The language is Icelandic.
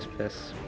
spes